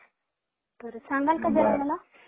तर सांगाल का मला जरा